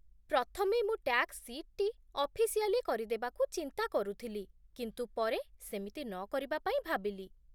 ପ୍ରଥମେ ମୁଁ ଟ୍ୟାକ୍ସ ସିଟ୍‌ଟି ଅଫିସିଆଲି କରିଦେବାକୁ ଚିନ୍ତା କରୁଥିଲି, କିନ୍ତୁ ପରେ ସେମିତି ନକରିବା ପାଇଁ ଭାବିଲି